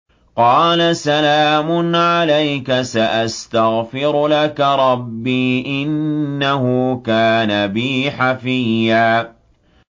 قَالَ سَلَامٌ عَلَيْكَ ۖ سَأَسْتَغْفِرُ لَكَ رَبِّي ۖ إِنَّهُ كَانَ بِي حَفِيًّا